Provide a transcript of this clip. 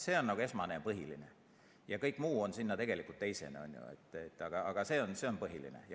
See on esmane ja põhiline, kõik muu on tegelikult teisene.